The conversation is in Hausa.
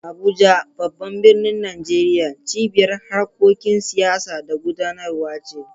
Abuja, babban birnin Najeriya, cibiyar harkokin siyasa da gudanarwa ce.